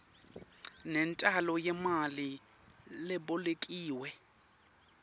nentalo yemali lebolekiwe